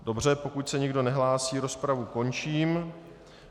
Dobře, pokud se nikdo nehlásí, rozpravu končím.